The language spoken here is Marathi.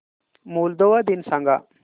मोल्दोवा दिन सांगा